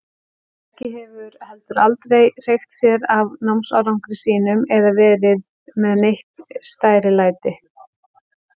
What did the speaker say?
Helgi hefur heldur aldrei hreykt sér af námsárangri sínum eða verið með neitt stærilæti.